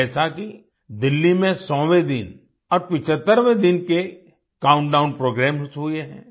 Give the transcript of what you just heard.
जैसा कि दिल्ली में 100वें दिन और 75वें दिन के काउंटडाउन प्रोग्रामेस हुए हैं